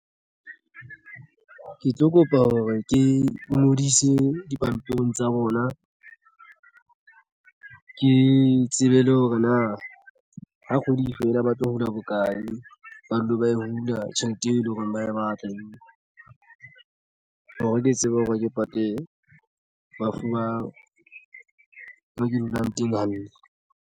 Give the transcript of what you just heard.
Ke tlo kopa hore ke ngodise dipampiring tsa bona ke tsebe le hore na ha kgwedi fela ba tlo hula bona hokae ba dule ba e hula tjhelete eo e leng hore ba ye ba atlehile hore ke tsebe hore ke pate bafu ba mo ke dulang teng hantle.